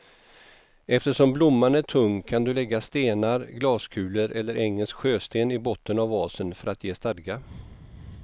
Eftersom blomman är tung kan du lägga stenar, glaskulor eller engelsk sjösten i botten av vasen för att ge stadga.